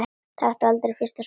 Taktu aldrei fyrsta sopann!